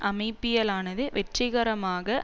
அமைப்பியலானது வெற்றிகரமாக